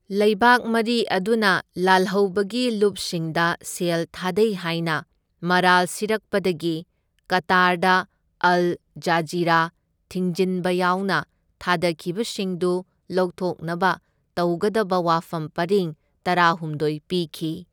ꯂꯩꯕꯥꯛ ꯃꯔꯤ ꯑꯗꯨꯅ ꯂꯥꯜꯍꯧꯕꯒꯤ ꯂꯨꯞꯁꯤꯡꯗ ꯁꯦꯜ ꯊꯥꯗꯩ ꯍꯥꯢꯅ ꯃꯔꯥꯜ ꯁꯤꯔꯛꯄꯗꯒꯤ, ꯀꯇꯥꯔꯗ ꯑꯜ ꯖꯖꯤꯔꯥ ꯊꯤꯡꯖꯤꯟꯕ ꯌꯥꯎꯅ ꯊꯥꯗꯈꯤꯕꯁꯤꯡꯗꯨ ꯂꯧꯊꯣꯛꯅꯕ ꯇꯧꯒꯗꯕ ꯋꯥꯐꯝ ꯄꯔꯤꯡ ꯇꯔꯥꯍꯨꯝꯗꯣꯢ ꯄꯤꯈꯤ꯫